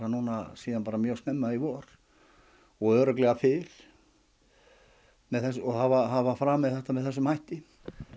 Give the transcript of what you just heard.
síðan bara mjög snemma í vor og örugglega fyrr og hafa hafa framið þetta með þessum hætti